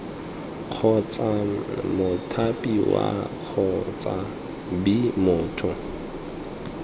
kgotsa mothapiwa kgotsa b motho